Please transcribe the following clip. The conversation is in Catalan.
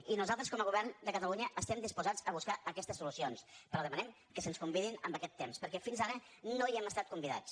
i nosaltres com a govern de catalunya estem disposats a buscar aquestes solucions però demanem que se’ns convidi en aquest temps perquè fins ara no hi hem estat convidats